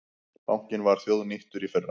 Bankinn var þjóðnýttur í fyrra